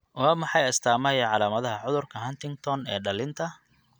Waa maxay astaamaha iyo calaamadaha cudurka Huntington ee dhallinta?